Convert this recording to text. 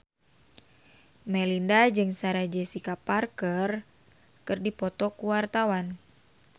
Melinda jeung Sarah Jessica Parker keur dipoto ku wartawan